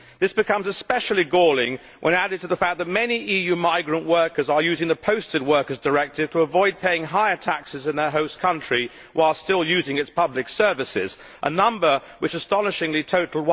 This becomes especially galling when added to the fact that many EU migrant workers are using the Posting of Workers Directive to avoid paying higher taxes in their host country, while still using its public services a number which astonishingly totalled